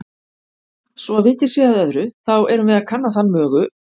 Svo vikið sé að öðru, þá erum við að kanna þann mögu